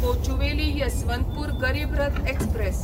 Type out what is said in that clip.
Kochuveli Yesvantpur Garib Rath express